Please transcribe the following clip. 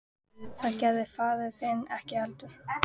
Það gerði hann faðir þinn ekki heldur.